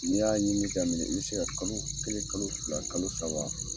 N y'a ɲinini daminɛ, i bɛ se ka kalo kelen, kalo fila, kalo saba.